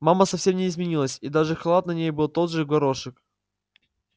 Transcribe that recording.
мама совсем не изменилась и даже халат на ней был тот же в горошек